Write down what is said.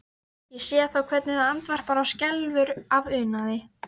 Ég sé þá hvernig það andvarpar og skelfur af unaði.